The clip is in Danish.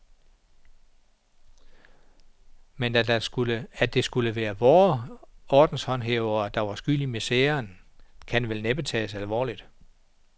Men at det skulle være vore ordenshåndhævere, der var skyld i miseren, skal vel næppe tages alvorligt.